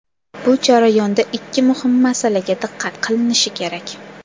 Bu jarayonda ikki muhim masalaga diqqat qilinishi kerak.